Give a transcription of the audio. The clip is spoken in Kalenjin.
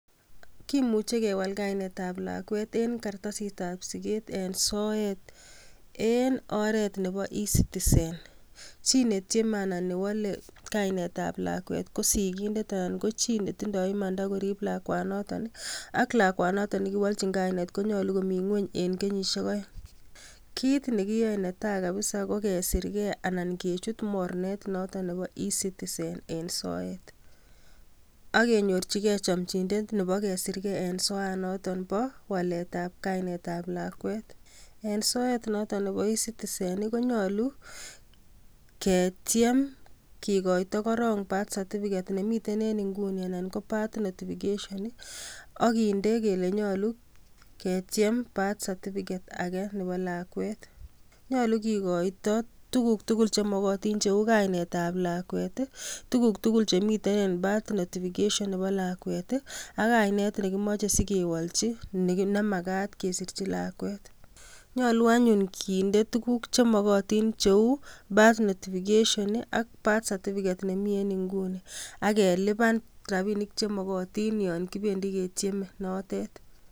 Kimuche kewal kainetab lakwet eng kartasit ab siget eng sort en oret nebo ecitizen, chi netieme orani KO sigindet ak non kochi netindo imanda koriib lakwanoton ak lakwet noton nekowolchin kainet konyolu komiten ngwony eng kenyisiek oeng. Kit nekiyoe neta kabsa ko kesirgee ak kechut mornetab ecitizen eng soet, ak kenyorchige nyomnyinet Nebo waaletab kainet ab lakwet. Eng soet noton nebo ecitizen konyolu ketiem kikoito korong kartasitab siket nemiten eng inguni anan ko birth notification akinde kele nyolu ketiem birth certificate age Nebo lakwet. Nyolu kikoito tuguuk tugul chemokotiin cheu kainetab lakwet I,tuguuk tugul chemiten eng birth notification Nebo lakwet ak kainet nemakat kewolchi, nemakat kesirchi lakwet. Nyolu anyun kinde tuguuk chemokotin cheu kartasisiek ab siget tugul chemi en inguni, ak kelipani rapinik chemokotin yon kibendi ketieme note.